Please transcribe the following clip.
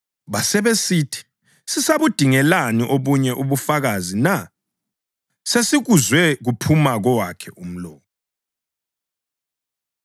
Basebesithi, “Sisabudingelani obunye ubufakazi na? Sesikuzwe kuphuma kowakhe umlomo.”